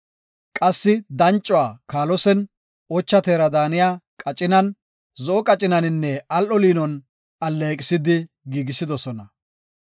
Qassi dancuwa kaalosen, ocha teera daaniya qacinan, zo7o qacinaninne al7o liinon alleeqisidi, giigisidosona.